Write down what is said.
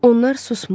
Onlar susmur.